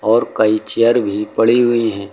और कई चेयर भी पड़ी हुई है।